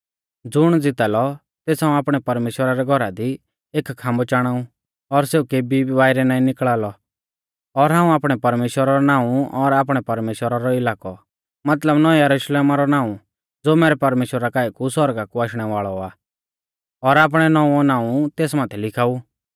ज़ुण ज़िता लौ तेस हाऊं आपणै परमेश्‍वरा रै घौरा दी एक खाम्बौ चाणाऊ और सेऊ केबी भी बाइरै नाईं निकल़ा लौ और हाऊं आपणै परमेश्‍वरा रौ नाऊं और आपणै परमेश्‍वरा रौ इलाकौ मतलब नौऐं यरुशलेमा रौ नाऊं ज़ो मैरै परमेश्‍वरा काऐ कु सौरगा कु आशणै वाल़ौ आ और आपणै नौंवौ नाऊं तेस माथै लिखाऊ